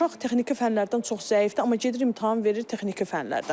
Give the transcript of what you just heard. Uşaq texniki fənlərdən çox zəifdir, amma gedib imtahan verir texniki fənlərdən.